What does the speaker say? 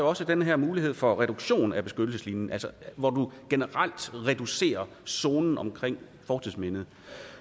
også den her mulighed for reduktion af beskyttelseslinjen altså hvor man generelt reducerer zonen omkring fortidsmindet